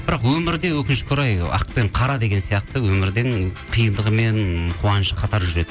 бірақ өмірде өкінішке орай ақ пен қара деген сияқты өмірдің қиындығы мен қуанышы қатар жүреді